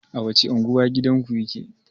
A wacce unguwa gidanku yake?